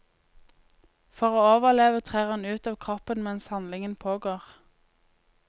For å overleve trer hun ut av kroppen mens handlingen pågår.